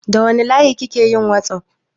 Da wanne layi kike yin whatsapp?